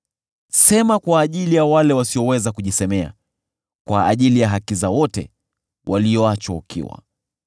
“Sema kwa ajili ya wale wasioweza kujisemea, kwa ajili ya haki za wote walioachwa ukiwa.